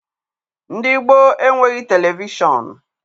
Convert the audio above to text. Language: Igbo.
Ndị gboo enweghị televishọnụ.